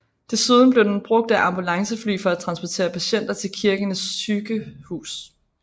Desuden blev den brugt av ambulancefly for at transportere patienter til Kirkenes sykehus